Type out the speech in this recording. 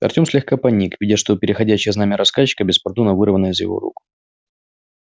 артем слегка поник видя что переходящее знамя рассказчика беспардонно вырвано из его рук